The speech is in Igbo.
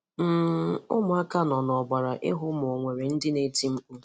um Ụmụ̀aka nọ n’ụ̀gbàrà ihu ma ò nwere ndị na-ètì mkpù.